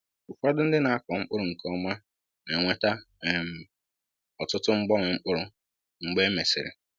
Ụfọdụ ndị na-akọ mkpụrụ nke ọma na-enweta um ọtụtụ mgbanwe mkpụrụ mgbe e mesịrị.